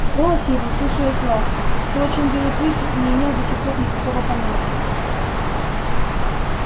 в голосе его слышалась ласка то о чём белый клык не имел до сих пор никакого понятия